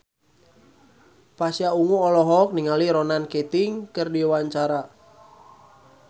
Pasha Ungu olohok ningali Ronan Keating keur diwawancara